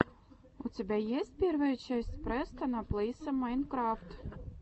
у тебя есть первая часть престона плэйса майнкрафт